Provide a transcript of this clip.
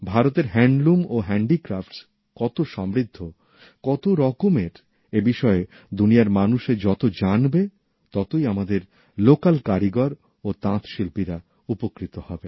ভারতের হ্যান্ডলুম ও হ্যান্ডিক্রাফট কত সমৃদ্ধ কত রকমের এই বিষয়ে দুনিয়ার মানুষে যত জানবে ততই আমাদের স্থানীয় কারিগর ও তাঁতশিল্পীরা উপকৃত হবে